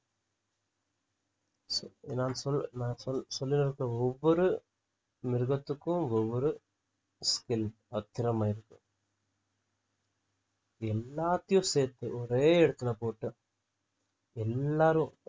நான் சொல்~ நான் சொல் சொல்லிருக்க ஒவ்வொரு மிருகத்துக்கும் ஒவ்வொரு skill பத்திரமா இருக்கும் இது எல்லாத்தையும் சேர்த்து ஒரே இடத்துல போட்டு எல்லாரும்